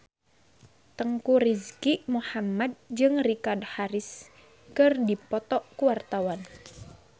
Teuku Rizky Muhammad jeung Richard Harris keur dipoto ku wartawan